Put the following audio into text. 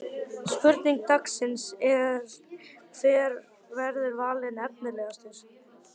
Spurning dagsins er: Hver verður valinn efnilegastur?